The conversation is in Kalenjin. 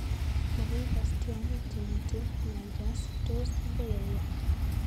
Makoi ikas tyong'ik chemitei nyanjas-tos akoi auiyo?